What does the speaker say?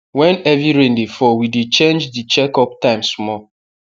when heavy rain dey fall we dey change the check up time small